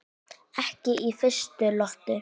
Ekki í fyrstu lotu!